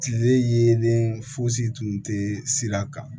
Tile yelen fosi tun tɛ sira kan